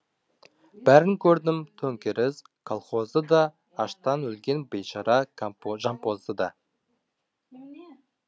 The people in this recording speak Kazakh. бәрін көрдім төңкеріс колхозды да аштан өлген бейшара жампозды да